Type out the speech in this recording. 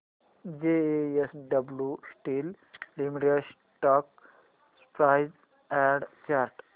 JSW steel limited stock price and chart